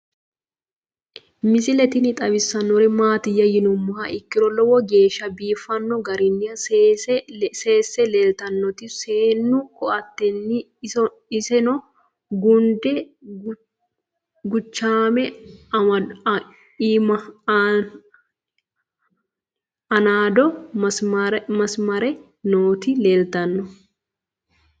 Misile tini xawisannori maattiya yinummoha ikkiro lowo geeshsha biiffanno garinni seesse leelittannotti seennu koateetti. isenno ginde guchaamme, aaniiddo maasaramme nootti leelittanno